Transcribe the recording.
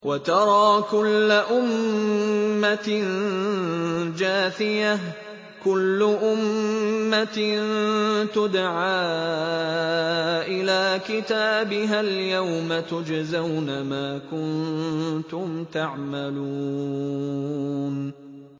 وَتَرَىٰ كُلَّ أُمَّةٍ جَاثِيَةً ۚ كُلُّ أُمَّةٍ تُدْعَىٰ إِلَىٰ كِتَابِهَا الْيَوْمَ تُجْزَوْنَ مَا كُنتُمْ تَعْمَلُونَ